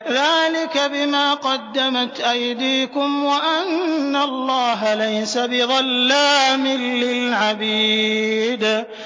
ذَٰلِكَ بِمَا قَدَّمَتْ أَيْدِيكُمْ وَأَنَّ اللَّهَ لَيْسَ بِظَلَّامٍ لِّلْعَبِيدِ